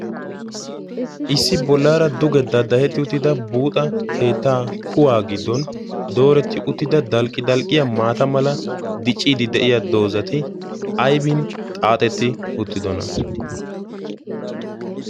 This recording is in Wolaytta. issi bollaara duge daaddahetti uttida buuxa keetta kuwaa giddon dooretti uttida dalqi dalqqiya maata mala diciidi de'iya doozati aybin xaaxetti uttidona?